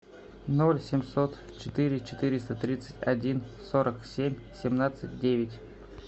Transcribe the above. ноль семьсот четыре четыреста тридцать один сорок семь семнадцать девять